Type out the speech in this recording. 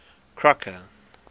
crocker